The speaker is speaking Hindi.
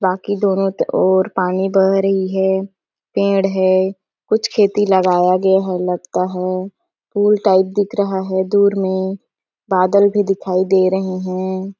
बाकी दोनों त ओर पानी बह रही है पेड़ है कुछ खेती लगाया गया है लगता है पूल टाइप दिख रहा है दूर में बादल भी दिखाई दे रहे है।